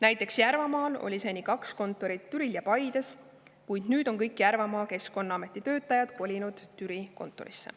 Näiteks Järvamaal oli seni kaks kontorit, Türil ja Paides, kuid nüüd on kõik sealsed Keskkonnaameti töötajad kolinud Türi kontorisse.